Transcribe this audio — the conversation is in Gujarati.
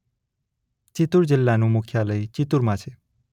ચિત્તૂર જિલ્લાનું મુખ્યાલય ચિત્તૂરમાં છે.